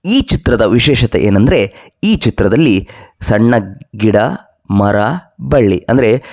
ಈ ಚಿತ್ರದ ವಿಶೇಷತೆ ಏನಂದ್ರೆ ಈ ಚಿತ್ರದಲ್ಲಿ ಸಣ್ಣ ಗಿಡ ಮರ ಬಳ್ಳಿ ಅಂದ್ರೆ